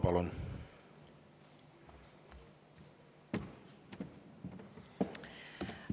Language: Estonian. Palun!